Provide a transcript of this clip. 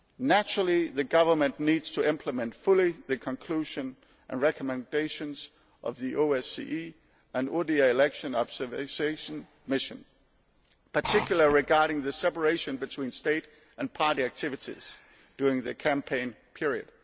Naturally the government needs to implement fully the conclusions and recommendations of the OSCE ODIHR election observation mission, particularly regarding the separation between state and party activities during the campaign period.